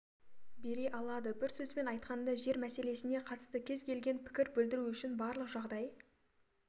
бере алады бір сөзбен айтқанда жер мәселесіне қатысты кез келген пікір білдіру үшін барлық жағдай